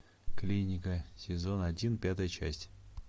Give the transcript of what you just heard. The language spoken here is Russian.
клиника сезон один пятая часть